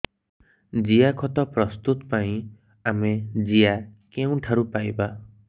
ଜିଆଖତ ପ୍ରସ୍ତୁତ ପାଇଁ ଆମେ ଜିଆ କେଉଁଠାରୁ ପାଈବା